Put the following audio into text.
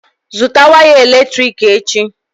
Zụtà waya eletrik echi!